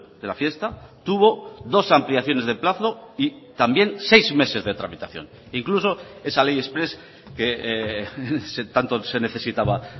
de la fiesta tuvo dos ampliaciones de plazo y también seis meses de tramitación incluso esa ley exprés que tanto se necesitaba